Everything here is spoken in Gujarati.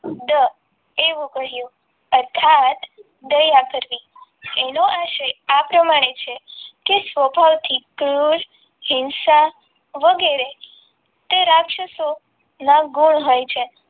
દ એવું કહ્યું અર્થાત દયા કરવી એનો આશય આ પ્રમાણે છે તે સ્વભાવથી તૃષ્ટ હિંસા વગેરે તે રાક્ષસો ના ગુણ હોય છે.